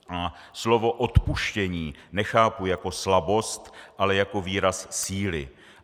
A slovo odpuštění nechápu jako slabost, ale jako výraz síly.